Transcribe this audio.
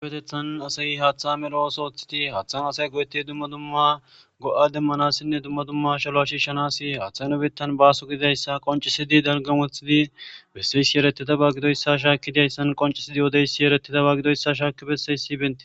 Giupetethan asayi haaththa mero7os oothiti haaththan asay goyeti dumma dumma go7a demmanassinne dumma dumma shaloa shiishanasi haaththay nobettan baaso gididayssa qoncisidi dalgamothidi besseysi yeretida ba gidoyssa shaakki dayssan qoncisidi yoodeysi yeretida ba gidoyssa shaaki besseysi benti.